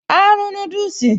Áá rún núdùsì